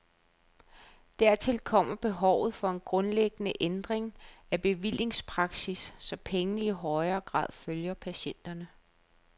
Dertil kommer behovet for en grundlæggende ændring af bevillingspraksis, så pengene i højere grad følger patienterne.